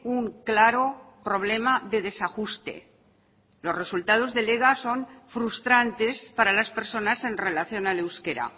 un claro problema de desajuste los resultados del ega son frustrantes para las personas en relación al euskera